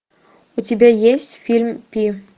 у тебя есть фильм пи